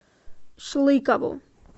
шлыкову